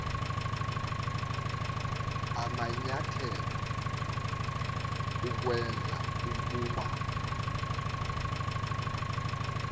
amanyathelo ukwenza ukuba